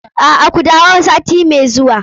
A'a, ku dawo sati mai zuwa.